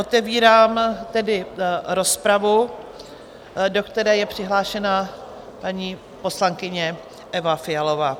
Otevírám tedy rozpravu, do které je přihlášena paní poslankyně Eva Fialová.